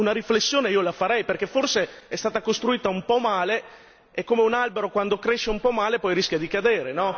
Però, una riflessione io la farei, perché forse è stata costruita un po' male e come un albero quando cresce un po' male, poi rischia di cadere.